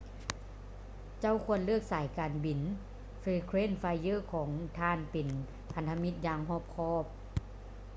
ເຈົ້າຄວນເລືອກສາຍການບິນ frequent flyer ຂອງທ່ານເປັນພັນທະມິດຢ່າງຮອບຄອບ